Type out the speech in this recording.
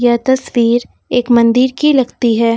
यह तस्वीर एक मंदिर की लगती है।